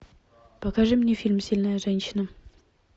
покажи мне фильм сильная женщина